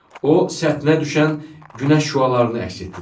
O səthinə düşən günəş şüalarını əks etdirir.